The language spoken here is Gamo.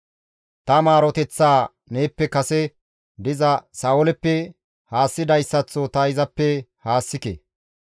Ta maaroteththaa neeppe kase diza Sa7ooleppe haassidayssaththo ta izappe haassike.